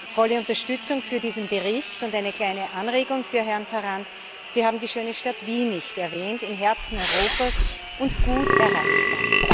Volle Unterstützung für diesen Bericht und eine kleine Anregung für Herrn Tarand Sie haben die schöne Stadt Wien nicht erwähnt, im Herzen Europas und gut erreichbar!